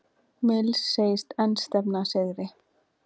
Mills segist enn stefna að sigri